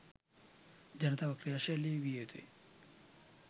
ජනතාව ක්‍රියාශීලි විය යුතුය.